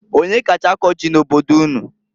Onyee kacha akọ ji n'obodo unu?